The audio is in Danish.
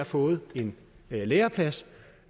fået en læreplads